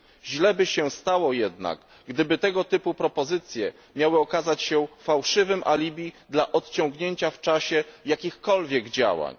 Źle by się stało jednak, gdyby tego typu propozycje miały okazać się fałszywym alibi dla opóźnienia w czasie jakichkolwiek działań.